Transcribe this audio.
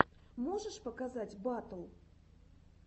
можешь показать батл